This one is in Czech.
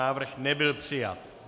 Návrh nebyl přijat.